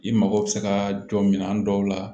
I mago bɛ se ka jɔ minɛn dɔw la